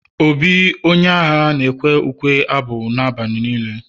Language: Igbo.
obi the warrior na ekwe ukwe-abụ na abalị nilee